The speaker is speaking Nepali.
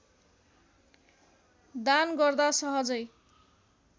दान गर्दा सहजै